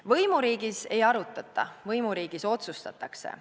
Võimuriigis ei arutata, võimuriigis otsustatakse.